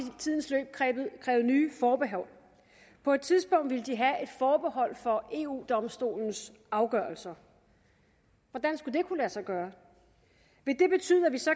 tidens løb krævet nye forbehold på et tidspunkt ville de have et forbehold for eu domstolens afgørelser hvordan skulle det kunne lade sig gøre vil det betyde at vi så